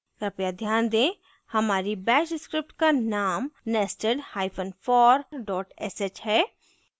कृपया ध्यान दें हमारी bash script का name nestedhyphen for dot sh है